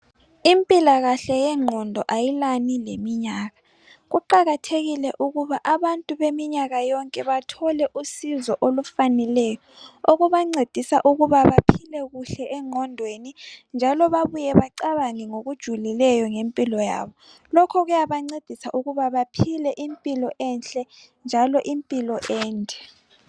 Impilakahle yengqondo ayilani leminyaka. Kuqakathekile ukuba abantu beminyaka yonke bathole usizo olufaneleyo okubancedisa ukuba baphile kuhle engqondweni njalo babuye bacabange ngokujulileyo ngempilo yabo. Lokho kuyabancedisa ukuba baphile impilo enhle njalo impilo ende.